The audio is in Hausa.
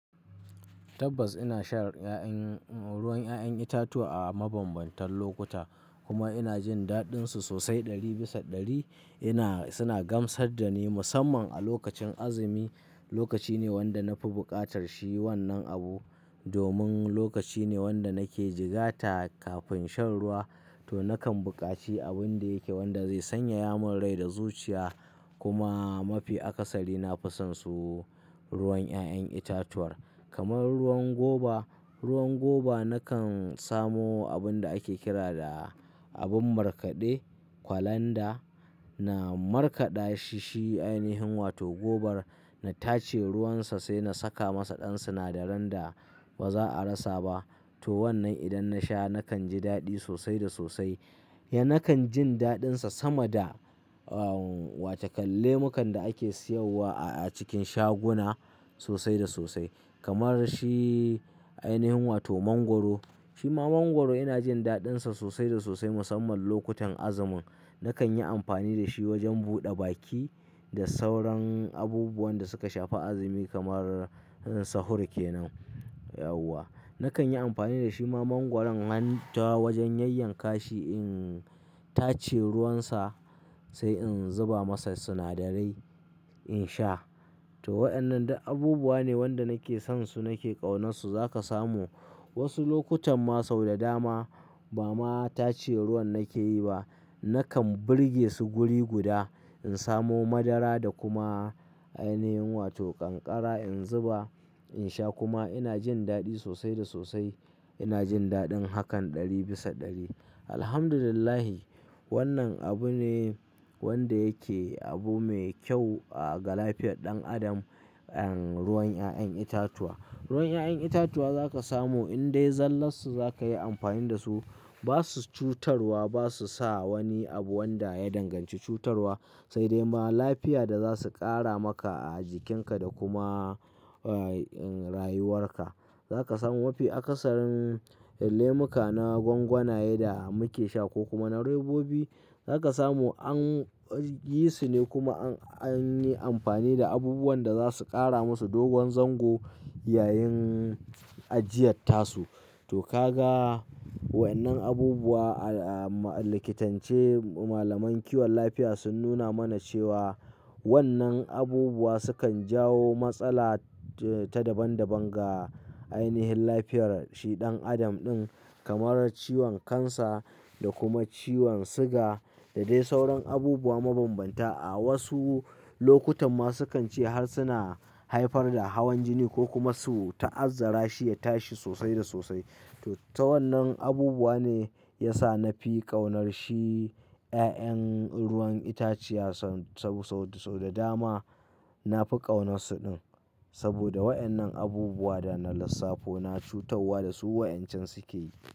Tabbas ina shan ruwan 'ya'yan itatuwa a mabambantan lokuta kuma ina jin daɗinsu sosai ɗari bisa ɗari. Ina-- suna gamsar da ni musamman a lokacin azumi. Lokaci ne wanda na fi buƙatar shi wannan abu domin lokaci ne wanda nake jigata kafin shan ruwa to nakan buƙaci abin da yake wanda zai sanyaya mun rai da zuciya. Kuma mafi akasari na fi son su ruwan 'ya'yan itatuwar kamar ruwan goba. Ruwan goba nakan samo abun da ake kira da abin markaɗe kwalanda. Na markaɗa shi, shi ainihin wato gobar na tace ruwansa sai na saka masa ɗan sinadaran da ba za a rasa ba. To wannan idan nasha nakan ji daɗi sosai da sosai. Ya nakan jin daɗinsa sama da, oh, watakam lemukan da ake siyarwa a cikin shaguna sosai da sosai. Kamar shi ainihin wato mangwaro. Shi ma mangwaro ina jin daɗinsa sosai da sosai musamman lokutan azumin. Nakan yi amfani da shi wajen buɗa baki da sauran abubuwan da suka shafi azumi kamar sahur kenan. Yawws! Nakan yi amfani da shi ma mangwaron han ta wajen yayyanka shi in tace ruwansa sai in zuba masa sinadarai in sha. To waɗannan duk abubuwa ne wanda nake son su nake ƙaunar su. Za ka samu wasu lokutan ma sau da dama ba ma tace ruwan nake yi ba. Nakan burge su guri guda, in samo madara da kuma ainihin wato kankara in zuba in sha kuma ina jin daɗi sosai da sosai. Ina jin daɗin hakan ɗari bisa ɗari. Alhamdulillah wannan abu ne wanda yake abu mai kyau ga lafiyar ɗan adam, eh, ruwan 'ya'yan itatuwa. Ruwan 'ya'yan itatuwa za ka samu in dai zallarsu za ka yi amfani da su. Ba su cutarwa, ba su sa wani abu wanda ya danganci cutarwa sai dai ma lafiya da za su ƙara maka a jikinka da kuma, eh, rayuwarka. Za ka samu mafi akasarin lemuka na gwangwanaye da muke sha ko kuma na robobi. Za ka samu an yi su ne kuma an, an yi amfani da abubuwan da za su ƙara musu dogon zango yayin ajiyar tasu. To ka ga wayannan abubuwa a, a, a likitance malaman kiwon lafiya sun nuna mana cewa wannan abubuwa sukan jawo matsala ta daban daban ga ainihin lafiyar shi ɗan adam ɗin kamar ciwon kansa da kuma ciwon siga da dai sauran abubuwa mabanbanta. A wasu lokutan ma sukan ce har suna haifar da hawan jini ko kuma su ta'azzara shi ya tashi sosai da sosai. To ta wannan abubuwa ne ya sa na fi ƙaunar shi 'ya'yan ruwan itaciya sau, sau, sau da dama na fi ƙaunarsu din. Saboda wayannan abubuwa da na lissafo na cutarwa da su wa'yancan suke yi.